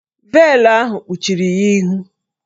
Veelụ ahụ kpuchiri ya ihu